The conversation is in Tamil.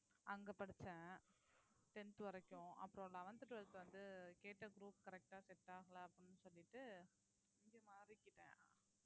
அங்க படிச்சேன் tenth வரைக்கும் அப்புறம் eleventh twelfth வந்து கேட்ட group correct ஆ set ஆகலை அப்படின்னு சொல்லிட்டு இங்க மாறிக்கிட்டேன்